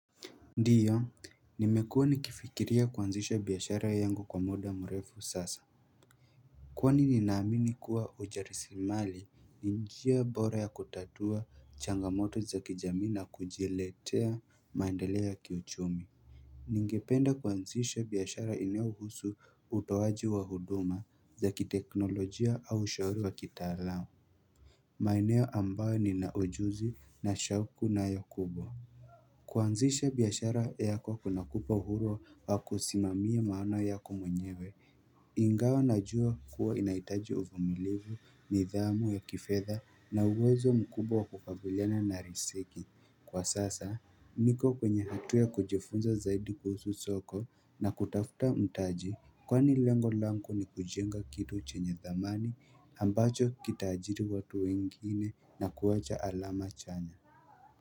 Ndiyo, nimekuwa nikifikiria kuanzisha biashara yangu kwa muda mrefu sasa Kwani ninaamini kuwa ujasirimali ni njia bora ya kutatua changamoto za kijamii na kujiletea maendeleo ya kiuchumi Ningependa kuanzisha biashara inayo husu utoaji wa huduma za kiteknolojia au ushauri wa kitaalam maeneo ambayo nina ujuzi na shauku nayo kubwa kuanzisha biashara yako kunakupa uhuru wa kusimamia maana yako mwenyewe Ingawa najua kuwa inahitaji uvumilivu nidhamu ya kifedha na uwezo mkubwa wa kukabiliana na riziki Kwa sasa, niko kwenye hatu ya kujifunza zaidi kuhusu soko na kutafuta mtaji Kwani lengo langu ni kujenga kitu chenye dhamani ambacho kitaajiri watu wengine na kuwacha alama chanya.